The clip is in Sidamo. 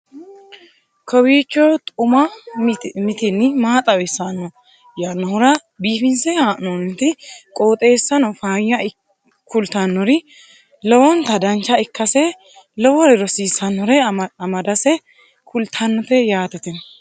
kowiicho xuma mtini maa xawissanno yaannohura biifinse haa'noonniti qooxeessano faayya kultannori lowonta dancha ikkase lowore rosiisannore amadase kultannote yaate tini